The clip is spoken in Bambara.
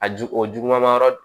A ju o juguman yɔrɔ